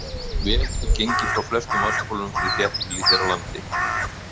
Vel er gengið frá flestum vatnsbólum fyrir þéttbýli hér á landi.